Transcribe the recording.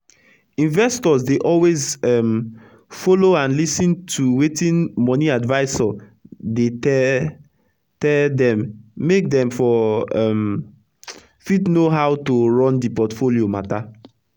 investors dey always um follow and lis ten to wetin moni adviser dey tell tell dem make dem for um fit know how to run d portfolio matter